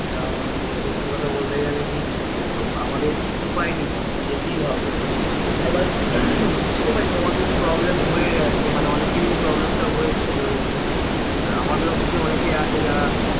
কারণ সত্যি কথা বলতে গেলে কি আমাদের উপায় নেই যেতেই হবে এবার বুঝতেপাই তোমাদের problem হয়ে আছে মানে অনকেরই problem টা হয়েছে যে ওই আমাদের office এ অনেকে আছে যারা